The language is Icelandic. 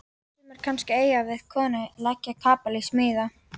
Sumir kannski að eiga við konu, leggja kapal, smíða.